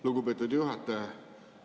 Lugupeetud juhataja!